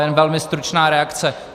Jenom velmi stručná reakce.